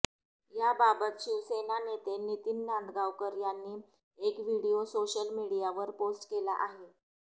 याबाबत शिवसेना नेते नितीन नांदगावकर यानी एक व्हिडीओ सोशल मीडियावर पोस्ट केला आहे